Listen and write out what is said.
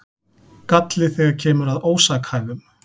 Galli þegar kemur að ósakhæfum